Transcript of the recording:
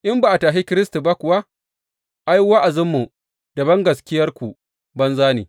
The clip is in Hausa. In ba a tashe Kiristi ba kuwa, ai, wa’azinmu, da bangaskiyarku banza ne.